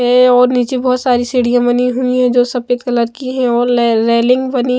है और नीचे बहुत सारी सीढ़ियां बनी हुई है जो सफेद कलर की है और रेलिंग बनी--